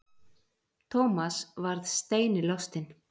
Thomas varð steini lostinn.